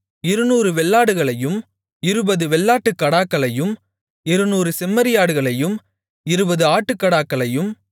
இருநூறு வெள்ளாடுகளையும் இருபது வெள்ளாட்டுக் கடாக்களையும் இருநூறு செம்மறியாடுகளையும் இருபது ஆட்டுக்கடாக்களையும்